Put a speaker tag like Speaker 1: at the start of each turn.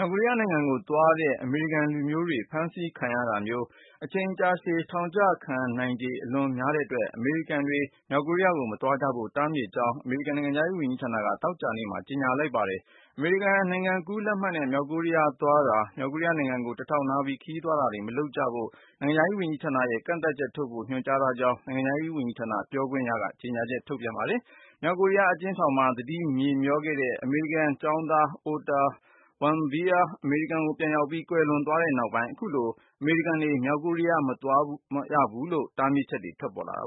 Speaker 1: ောက်ကိုရီးယားနိုင်ငံကိုသွားတဲ့ အမေရိကန်လူမျိုးတွေ ဖမ်းဆီးခံရနိုင်ခြေ အချိန်ကြာရှည်ထောင်ချခံရနိုင်ခြေ အလွန်များတဲ့အတွက် အမေရိကန်တွေ မြောက်ကိုရီးယား မသွားရလို့တားမြစ်မယ့်အကြောင်း အမေရိကန်နိုင်ငံခြားရေးဌာနက သောကြာနေ့မှာ ပြောကြားလိုက်ပါတယ်။ အမေရိကန်နိုင်ငံကူးလက်မှတ်နဲ့ မြောက်ကိုရီးယားသွားတာ၊ မြောက်ကိုရီယားနိုင်ငံကို တဆင့်ခံခရီးသွားတာတွေမလုပ်ရလို့ နိုင်ငံခြားရေးဝန်ကြီးက ကန့်သတ်ချက်ထုတ်ဖို့ ညွှန်ကြားထားကြောင်း နိုင်ငံခြားရေးဌာနပြောခွင့်ရသူက ကြေညာချက်ထုတ်ပြန်ခဲ့တာပါ။ အမေရိကန်တက္ကသိုလ်ကျောင်းသား Otto Warmbier မြောက်ကိုရီးယားအကျဉ်းထောင်မှာ သတိမေ့မြောနေခဲ့ပြီး အမေရိကန်ပြန်အရောက် ကွယ်လွန်သွားခဲ့ပြီးနောက်မှာ ခုလို အမေရိကန်လူမျိုးတွေ မြောက်ကိုရီးယားမသွား
Speaker 2: ရလို့ တားမြစ်ချက် ထွက်ပေါ်လာတာ